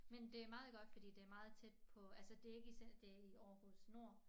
Men det meget godt fordi det meget tæt på altså det ikke i det i Aarhus Nord